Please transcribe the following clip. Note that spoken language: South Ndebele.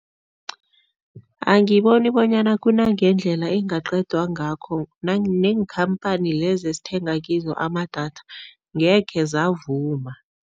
Angiboni bonyana kunangendlela engaqedwa ngakho neenkhamphani lezi esithenga kizo amadatha ngekhe zavuma.